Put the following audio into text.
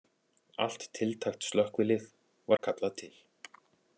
Allt tiltækt slökkvilið var kallað til